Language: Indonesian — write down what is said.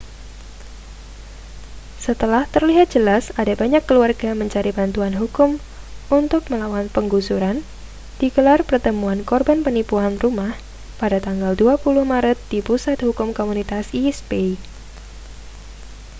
setelah terlihat jelas ada banyak keluarga mencari bantuan hukum untuk melawan penggusuran digelar pertemuan korban penipuan rumah pada tanggal 20 maret di pusat hukum komunitas east bay